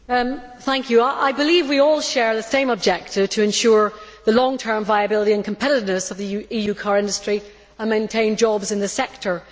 Madam President, I believe we all share the same objective to ensure the long term viability and competitiveness of the EU car industry and to maintain jobs in the sector.